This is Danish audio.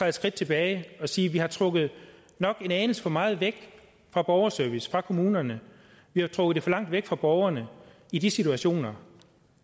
et skridt tilbage og sige vi har trukket en anelse for meget væk fra borgerservice fra kommunerne vi har trukket det for langt væk fra borgerne i de situationer